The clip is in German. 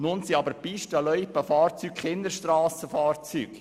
Nun sind aber Pisten- und Loipenfahrzeuge keine Strassenfahrzeuge.